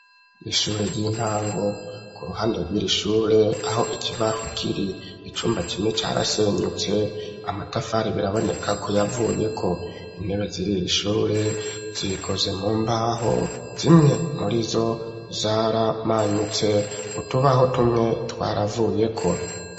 Ishure ry'intango ku ruhande ryiri ishure aho ikibaho kiri icyumba kimwe cyarasenyutse amatafari biraboneka ko yavuye ko intebe ziririishure zikoze mu mbaho zimwe muri zo zaramanyutse utubaho tumwe twaravuye ko.